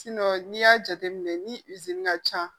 n'i y'a jateminɛ ni ka ca